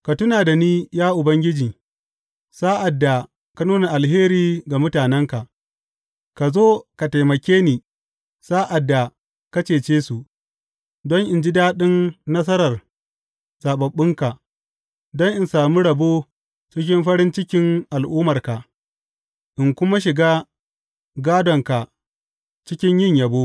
Ka tuna da ni, ya Ubangiji, sa’ad da ka nuna alheri ga mutanenka, ka zo ka taimake ni sa’ad da ka cece su, don in ji daɗin nasarar zaɓaɓɓunka, don in sami rabo cikin farin cikin al’ummarka in kuma shiga gādonka cikin yin yabo.